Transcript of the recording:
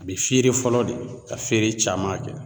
A bɛ feere fɔlɔ de ka feere caman kɛ